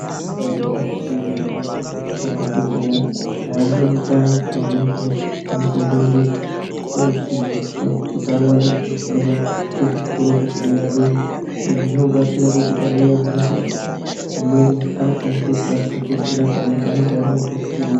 Ibairi gwinyiso ye mene madhokodheya nana mbuya utano pamweni pacho anotombo ende ko dzidziswa kuti awandudze fundo ku zvikoro zveku dera dera izvi zvino batsira kuti panouya hosha dzimweni anokwanise kukasike kudzi rapa ngekuti anenge ane ruzivo.